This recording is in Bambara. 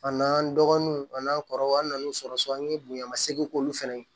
A n'an dɔgɔnunw a n'an kɔrɔw an nan'u sɔrɔ so an ye bonya seegin k'olu fɛnɛ ye